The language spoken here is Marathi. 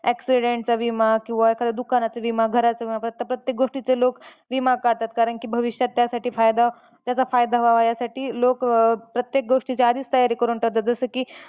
जसं की accident चा विमा किंवा एखाद्या दुकानाचा विमा, घराचा विमा प्रत्येक गोष्टीचे लोक विमा काढतात. कारण की, भविष्यात त्यासाठी फायदा त्याचा फायदा व्हावा यासाठी लोक प्रत्येक गोष्टीची आधीच तयारी करून ठेवतात.